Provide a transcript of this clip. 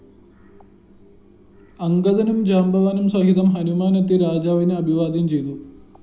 അംഗദനും ജാമ്പവാനും സഹിതം ഹനുമാനെത്തി രാജാവിനെ അഭിവാദ്യം ചെയ്തു